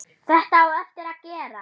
Þetta á eftir að gerast.